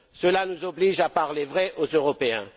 Cela nous oblige à parler vrai aux Européens.